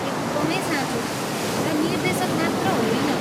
एकदमै साँचो हो, र निर्देशक मात्र होइन।